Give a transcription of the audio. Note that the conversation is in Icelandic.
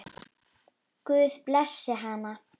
Guð blessi hana.